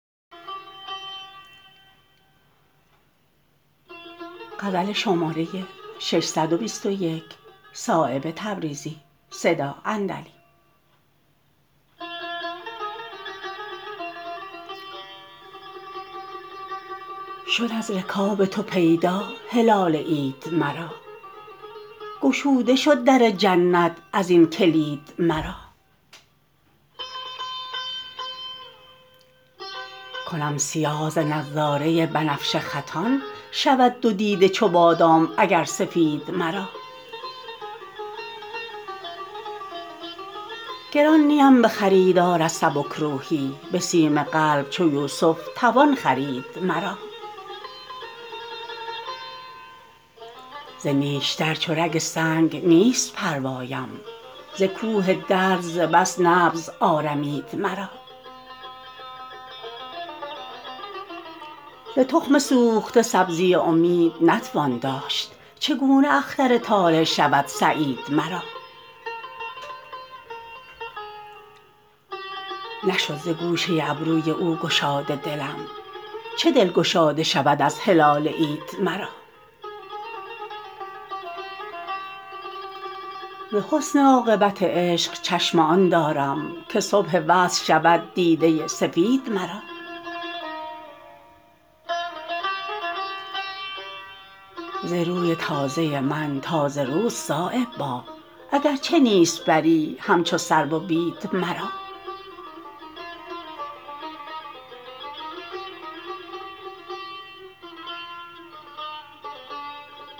شد از رکاب تو پیدا هلال عید مرا گشوده شد در جنت ازین کلید مرا کنم سیاه ز نظاره بنفشه خطان شود دو دیده چو بادام اگر سفید مرا گران نیم به خریدار از سبکروحی به سیم قلب چو یوسف توان خرید مرا ز نیشتر چو رگ سنگ نیست پروایم ز کوه درد ز بس نبض آرمید مرا ز تخم سوخته سبزی امید نتوان داشت چگونه اختر طالع شود سعید مرا نشد ز گوشه ابروی او گشاده دلم چه دل گشاده شود از هلال عید مرا ز حسن عاقبت عشق چشم آن دارم که صبح وصل شود دیده سفید مرا ز روی تازه من تازه روست صایب باغ اگر چه نیست بری همچو سرو و بید مرا